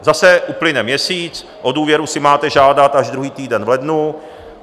Zase uplyne měsíc, o důvěru si máte žádat až druhý týden v lednu.